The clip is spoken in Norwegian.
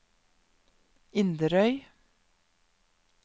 Inderøy